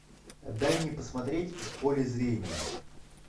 дай мне посмотреть в поле зрения